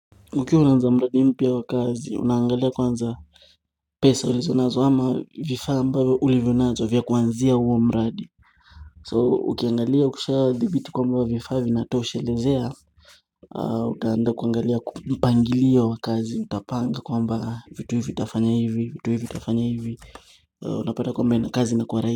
Ukiwa waanza mradi mpya au kazi unangalia kwanza pesa ulizo nazo ama vifaa ambavyo ulivyo nazo vya kuanzia huo mradi So ukiangalia ukisha dhibiti kwamba vifaa vinatoshelezea Utaenda kuangalia kupangilio wakazi utapanga kwamba vitu hivi utafanya hivi vitu hivi utafanya hivi unapata kwamba ina kazi na kuwarai.